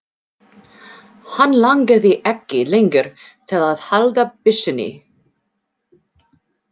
Hann langaði ekki lengur til að halda byssunni.